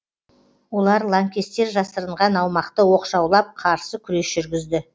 олар лаңкестер жасырынған аумақты оқшаулап қарсы күрес жүргізді